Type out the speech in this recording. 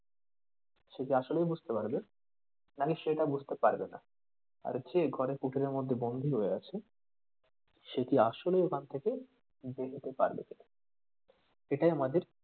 সে কি আসলেই বুঝতে পারবে নাকি সে তা বুঝতে পারবেনা। আর যে ঘরে পুতুলের মধ্যে বন্দি হয়ে আছে সে কি আসলেই ওখান থেকে বেরোতে পারবে কি না এটাই আমাদের,